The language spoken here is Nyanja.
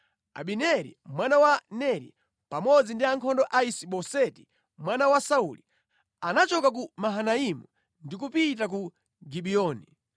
Abineri mwana wa Neri, pamodzi ndi ankhondo a Isi-Boseti mwana wa Sauli, anachoka ku Mahanaimu ndi kupita ku Gibiyoni.